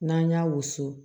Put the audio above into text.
N'an y'a wusu